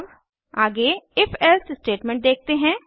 अब आगे if else statement देखते हैं